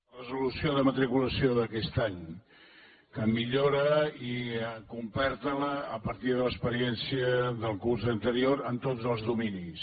la resolució de matriculació d’aquest any que la millora i completa a partir de l’experiència del curs anterior en tots els dominis